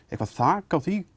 eitthvað þak á því